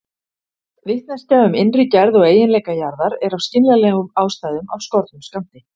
Vitneskja um innri gerð og eiginleika jarðar er af skiljanlegum ástæðum af skornum skammti.